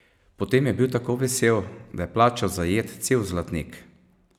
Potem je bil tako vesel, da je plačal za jed cel zlatnik.